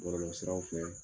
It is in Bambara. Bɔlɔlɔ siraraw fɛ,